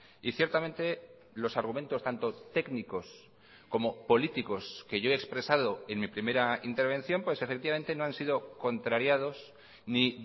y ciertamente los argumentos tanto técnicos como políticos que yo he expresado en mi primera intervención pues efectivamente no han sido contrariados ni